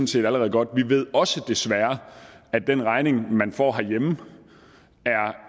set allerede godt vi ved også desværre at den regning man får herhjemme